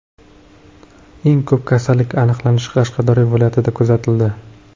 Eng ko‘p kasallik aniqlanishi Qashqadaryo viloyatida kuzatildi.